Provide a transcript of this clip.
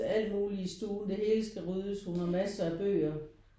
Alt muligt i stuen det hele skal ryddes hun har masser af bøger